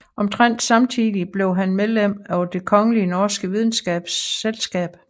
Omtrent samtidig blev han medlem af Det Kongelige Norske Videnskabers Selskab